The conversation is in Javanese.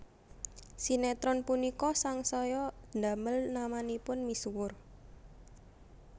Sinétron punika sangsaya ndamel namanipun misuwur